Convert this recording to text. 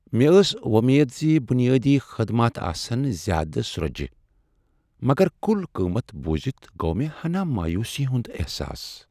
مےٚ ٲس وۄمید زِ بنیٲدی خدمات آسن زیادٕ سرۄجہ ، مگر کُل قیمت بوزِتھ گوٚ مےٚ ہنا مایوسی ہنٛد احساس۔